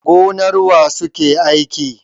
Gonar wa suke aiki?